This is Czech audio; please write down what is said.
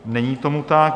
Není tomu tak.